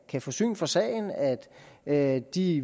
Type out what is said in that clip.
kan få syn for sagen og at at de